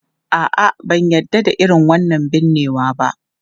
A'a, ban yarda da irin wannan binnewa ba.